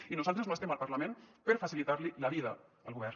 i nosaltres no estem al parlament per facilitar li la vida al govern